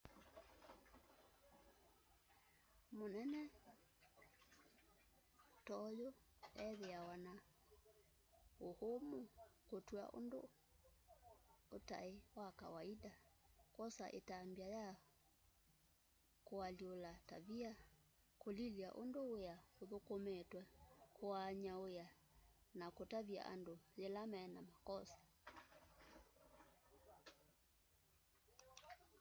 mũnene to'yũ ethĩawa na ũũmũ kũtw'a ũndũ ũtaĩ wa kawaita kwosa ĩtambya ya kũalyũũla tavia kũlilya ũndũ wĩa ũthũkũmĩtwe kũaanya wĩa na kũtavya andũ ylaĩ mena makosa